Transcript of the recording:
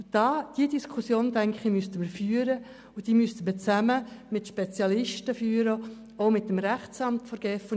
Diese Diskussion müssten wir meines Erachtens führen und zwar zusammen mit Spezialisten sowie dem Rechtsamt der GEF.